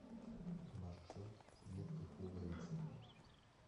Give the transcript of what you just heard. маршрут нитки пуговицы